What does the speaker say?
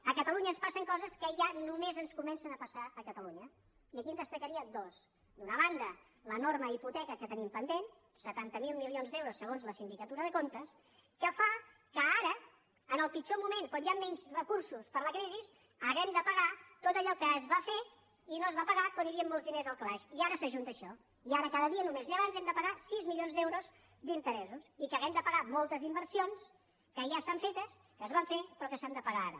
a catalunya ens passen coses que ja només ens comencen a passar a catalunya i aquí en destacaria dues d’una banda l’enorme hipoteca que tenim pendent setanta miler milions d’euros segons la sindicatura de comtes que fa que ara en el pitjor moment quan hi han menys recursos per la crisi hàgim de pagar tot allò que es va fer i no es va pagar quan hi havia molts diners al calaix i ara s’ajunta això i ara cada dia només llevarnos hem de pagar sis milions d’euros d’interessos i que hàgim de pagar moltes inversions que ja estan fetes que es van fer però que s’han de pagar ara